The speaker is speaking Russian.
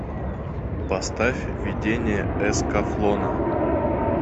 поставь видение эскафлона